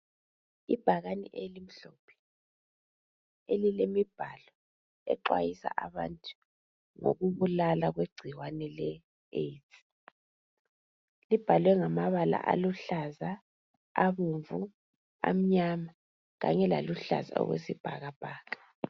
Ibhakane elimhlophe elilemibhalo exhwayisa abantu ngokubulala kwegcikwane le AIDS libhalwe ngamabala aluhlaza, abomvu, amnyama kanye laluhlaza okwesibhakabhaka.